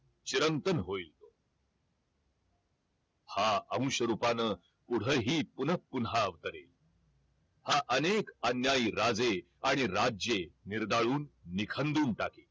चिरंतर होईल हा अंश रुपान पुढंही पुनः पुन्हा अवतरेल हा अनेक अन्यायी राजे आणि राज्ये निर्दाळून निखंदून टाकेल